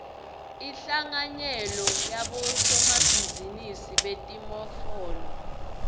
inhlanganyelo yabosomabhizinisi betimofolo